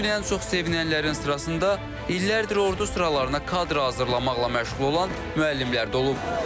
Bu gün ən çox sevinənlərin sırasında illərdir ordu sıralarına kadır hazırlamaqla məşğul olan müəllimlər də olub.